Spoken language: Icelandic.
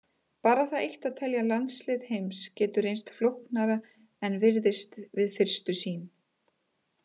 Bara það eitt að telja landslið heims getur reynst flóknara en virðist við fyrstu sýn.